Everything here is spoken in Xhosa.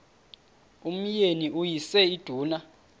umyeni uyise iduna